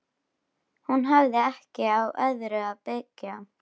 Hún hafði ekki á öðru að byggja.